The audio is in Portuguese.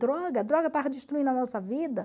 Droga, a droga estava destruindo a nossa vida.